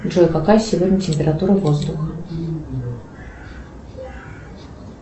джой какая сегодня температура воздуха